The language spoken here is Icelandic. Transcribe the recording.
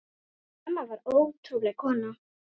Hún amma var ótrúleg kona.